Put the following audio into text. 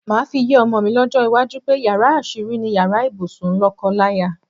Màá fi yé o̩mo̩ mi ló̩jó̩ iwájú pé yàrá às̩írí ni yàrá ibùsùn ló̩ko̩láya.